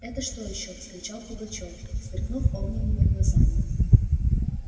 это что ещё вскричал пугачёв сверкнув огненными глазами